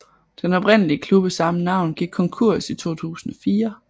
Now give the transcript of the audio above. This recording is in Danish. Den oprindelige klub af samme navn gik konkurs i 2004